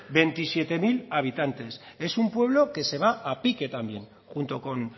veintisiete mil habitantes es un pueblo que se va a pique también junto con